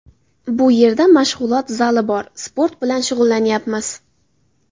Bu yerda mashg‘ulot zali bor, sport bilan shug‘ullanyapmiz.